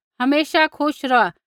हमेशा खुश रौहा